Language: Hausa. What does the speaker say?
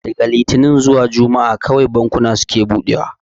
Daga litinin zuwa juma'a kawai bankuna suke buɗewa